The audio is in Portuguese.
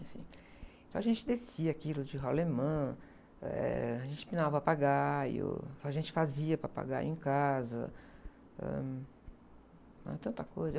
Assim, então a gente descia aquilo de rolimã, a gente pinava papagaio, a gente fazia papagaio casa, ãh. Aí, tanta coisa.